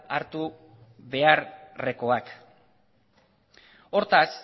hartu beharrekoak hortaz